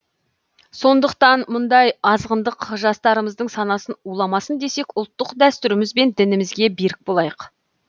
сондықтан мұндай азғындық жастарымыздың санасын уламасын десек ұлттық дәстүріміз бен дінімізге берік болайық